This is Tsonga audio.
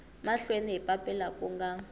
mahlweni hi papila ku nga